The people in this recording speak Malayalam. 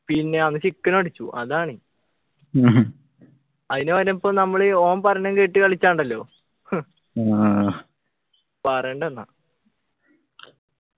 പിന്നെ അന്ന് chicken അടിച്ചു അതാണ് അയിന് ഓനിപ്പോ നമ്മളീ ഓൻ പറയുന്നംകേട്ടു കളിച്ചാ ഉണ്ടല്ലോ ഹും പറയണ്ട എന്നാ